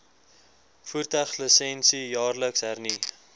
voertuiglisensie jaarliks hernu